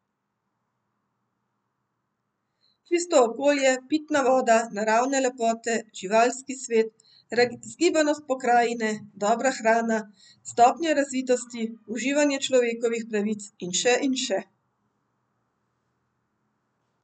Čisto okolje, pitna voda, naravne lepote, živalski svet, razgibanost pokrajine, dobra hrana, stopnja razvitosti, uživanje človekovih pravic in še in še.